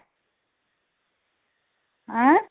ଆଁ